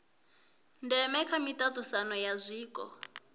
ndeme kha miaisano ya zwiko